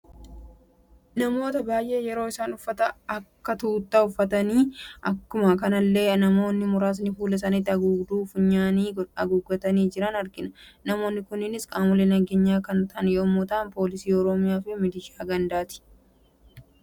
Namoota baay'ee yeroo isaan uffata akja tuuttaa uffatani akkuma kanalle namoonni muraasni fuula isaani haguugduu funyaanidhan haguuggatani jiran argina. Namoonni kunis qaamoolee nageenya kan ta'an yemmuu ta'u, poolisii oroomiyaa fi milishaa gandaati.